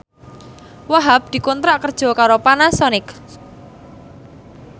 Wahhab dikontrak kerja karo Panasonic